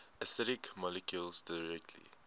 acidic molecules directly